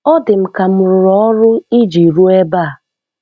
Ọ dị m ka m rụrụ ọrụ iji ruo ebe a.